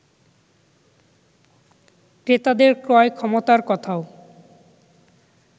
ক্রেতাদের ক্রয় ক্ষমতার কথাও